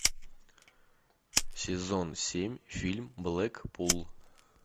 сезон семь фильм блэк пул